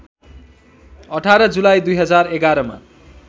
१८ जुलाई २०११ मा